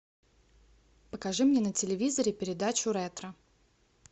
покажи мне на телевизоре передачу ретро